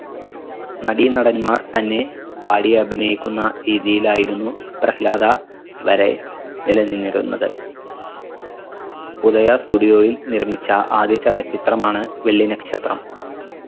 നടീനടന്മാർ തന്നെ പാടി അഭിനയിക്കുന്ന രീതിയിലായിരുന്നു പ്രഹ്ലാദ വരെ നിലനിന്നിരുന്നത് ഉദയ studio യിൽ നിർമ്മിച്ച ആദ്യ ചലച്ചിത്രമാണ് വെള്ളി നക്ഷത്രം